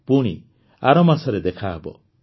ପୁଣି ଆରମାସରେ ଦେଖାହେବ